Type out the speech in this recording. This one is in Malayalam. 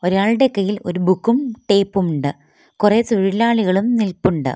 ഇയാൾടെ കൈയിൽ ഒരു ബുക്കും ടേപ്പുമുണ്ട് കൊറേ തൊഴിലാളികളും നിൽപ്പുണ്ട്.